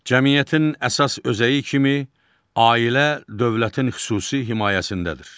Cəmiyyətin əsas özəyi kimi ailə dövlətin xüsusi himayəsindədir.